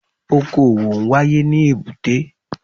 Okò òwò n wáyé ní èbúté